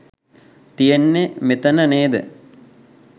තියෙන්නේ මෙතන නේද?